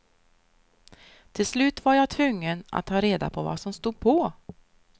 Till slut var jag tvungen att ta reda på vad som stod på.